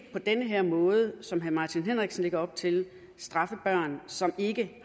på den måde som herre martin henriksen lægger op til her straffe børn som ikke